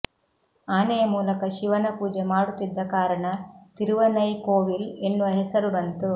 ಆನೆಯ ಮೂಲಕ ಶಿವನ ಪೂಜೆ ಮಾಡುತ್ತಿದ್ದ ಕಾರಣ ತಿರುವನೈ ಕೋವಿಲ್ ಎನ್ನುವ ಹೆಸರು ಬಂತು